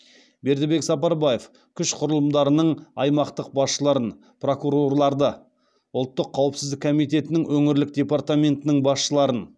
бердібек сапарбаев күш құрылымдарының аймақтық басшыларын прокурорларды ұлттық қауіпсіздік комитетінің өңірлік департаментінің басшыларын